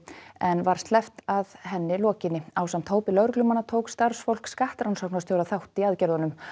en var sleppt að henni lokinni ásamt hópi lögreglumanna tók starfsfólk skattrannsóknarstjóra þátt í aðgerðunum